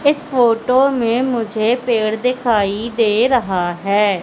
इस फोटो में मुझे पेड़ दिखाई दे रहा है।